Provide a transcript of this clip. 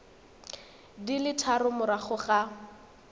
di le tharo morago ga